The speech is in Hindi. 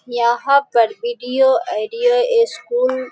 यहाँ पर वीडियो एडियो एस्कूल --